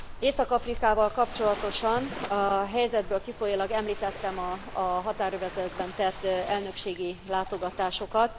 Észak Afrikával kapcsolatosan, a helyzetből kifolyólag említettem a határövezetben tett elnökségi látogatásokat.